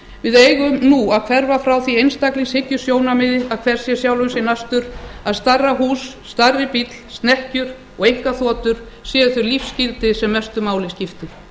við eigum nú að hverfa frá því einstaklingshyggjusjónarmiði að hver sé sjálfum sér næstur að stærra hús stærri bíll snekkjur og einkaþotur séu þau lífsgildi sem mestu máli skipti